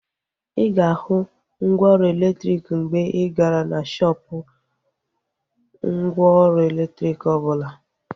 Ịga ahu mgwooru elektriki mgbe igara na shoopu mgwooru elektriki obula